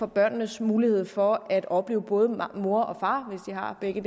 børnenes mulighed for at opleve både mor og far hvis de har begge